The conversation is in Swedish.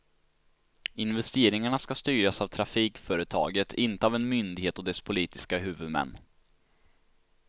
Investeringarna ska styras av trafikföretaget, inte av en myndighet och dess politiska huvudmän.